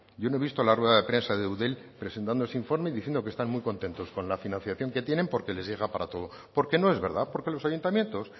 yo no he visto la rueda de prensa de eudel presentando ese informe y diciendo que están muy contentos con la financiación que tienen porque les llega para todo porque no es verdad porque los ayuntamientos